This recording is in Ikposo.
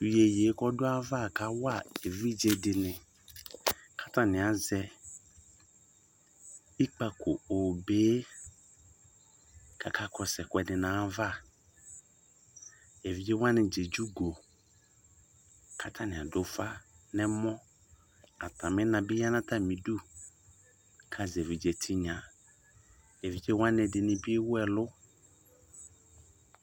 Iyeyeekɔdʋ ayava kawa evidze dɩnɩ, katanɩ azɛ ikpǝko obee , kaka kɔsʋ ɛkʋǝdɩ n'ayava Evidze wanɩdza edze ugo, katanɩadʋ ʋfa n'ɛmɔ , katamɩʋna bɩ ya n'atamidu kazɛ evidze tɩnya Evidze wanɩɛdɩnɩ bɩ ewu ɛlʋ